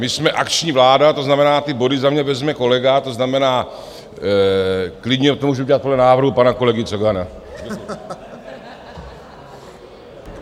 My jsme akční vláda, to znamená, ty body za mě vezme kolega, to znamená, klidně to můžu udělat podle návrhu pana kolegy Cogana.